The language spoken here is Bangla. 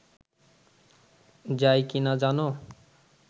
যায় কি না জানো